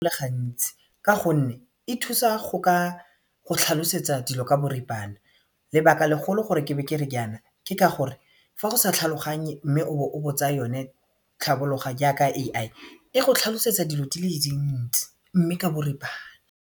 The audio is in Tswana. le gantsi ka gonne e thusa go ka go tlhalosetsa dilo ka boripana lebaka legolo gore ke be kere jaana ke ka gore fa o sa tlhaloganye mme o bo o botsa yone tlhabologa jaaka AI e go tlhalosetsa dilo di le dintsi mme ka boripana.